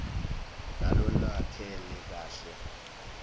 nalolwakheke kahle